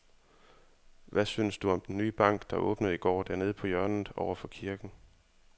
Hvad synes du om den nye bank, der åbnede i går dernede på hjørnet over for kirken?